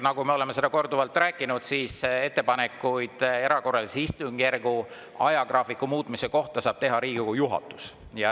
Nagu me oleme korduvalt rääkinud, ettepanekuid erakorralise istungjärgu ajagraafiku muutmise kohta saab teha Riigikogu juhatus.